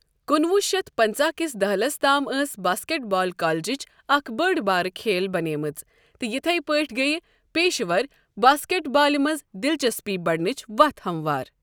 کُنہٕ وُہ شتھ پنٛژاہ کِس دہلس تام ٲس باسکٹ بال کالجٕچ اکھ بٔڑ بارٕ کھیل بنیمٕژ تہٕ یتھٕے پٲٹھۍ گٔیۍ پیشہِ ور باسکٹ بالہِ منٛز دلچسپی بڑنٕچ وتھ ہموار۔